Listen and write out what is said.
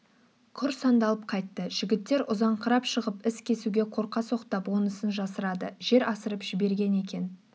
құр сандалып қайтты жігіттер ұзаңқырап шығып із кесуге қорқа соқтап онысын жасырады жер асырып жіберген екен